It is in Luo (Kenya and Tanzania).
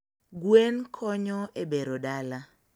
Gwen konyo e bero dala